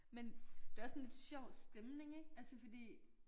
Men det også sådan lidt sjov stemning ik altså fordi